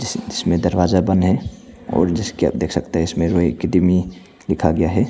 इस इसमें दरवाजा बंद है और जिसकी आप देख सकते हैं रॉय अकैडमी लिखा गया है।